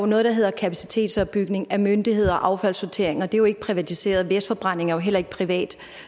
noget der hedder kapacitetsopbygning af myndigheder og affaldssortering og det er jo ikke privatiseret vestforbrændingen er jo heller ikke privat